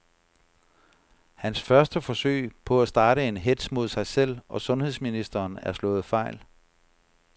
Hans første forsøg på at starte en hetz mod sig selv og sundheds ministeren er slået fejl.